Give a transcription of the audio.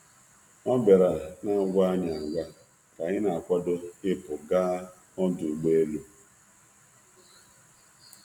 Ọ bịara n’agwaghị anyị agwa ka anyị na-akwado ịpụ gaa ọdụ ụgbọ elu.